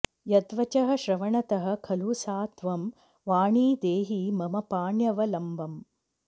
यद्वचः श्रवणतः खलु सा त्वं वाणि देहि मम पाण्यवलम्बम्